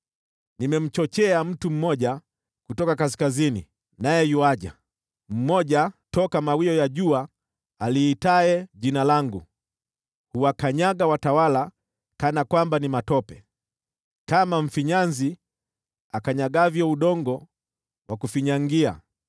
“Nimemchochea mtu mmoja kutoka kaskazini, naye yuaja, mmoja toka mawio ya jua aliitaye Jina langu. Huwakanyaga watawala kana kwamba ni matope, kama mfinyanzi akanyagavyo udongo wa kufinyangia.